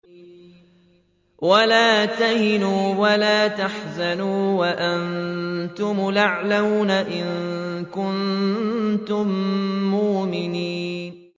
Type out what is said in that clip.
وَلَا تَهِنُوا وَلَا تَحْزَنُوا وَأَنتُمُ الْأَعْلَوْنَ إِن كُنتُم مُّؤْمِنِينَ